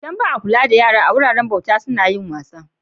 Idan ba a kula da yara a guraren bauta suna yin wasa.